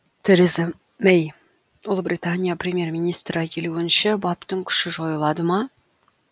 тереза мэй ұлыбритания премьер министрі елуінші баптың күші жойылады ма